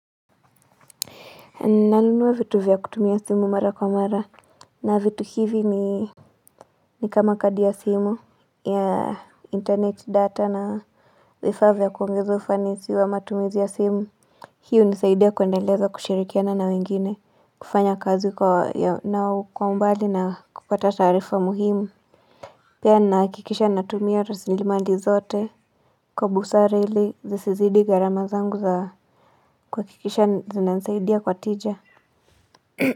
Nanunua vitu vya kutumia simu mara kwa mara na vitu hivi ni ni kama kadi ya simu ya internet data na vifaa vya kuongeza ufanisi wa matumizi ya simu Hii hunisaidia kuendeleza kushirikiana na wengine kufanya kazi nao kwa umbali na kupata taarifa muhimu Pia ninahakikisha natumia rasilimali zote Kwa busara ili zisizidi gharama zangu za kwa kuhakikisha zinanisaidia kwa tija.